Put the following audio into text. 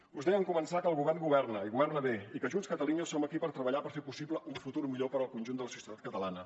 us deia en començar que el govern governa i governa bé i que junts per catalunya som aquí per treballar per fer possible un futur millor per al conjunt de la societat catalana